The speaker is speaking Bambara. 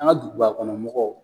An ka duguba kɔnɔmɔgɔw